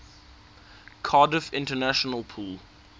cardiff international pool